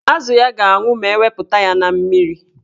Azụ ya ga-anwụ ma ewepụta ya na mmiri.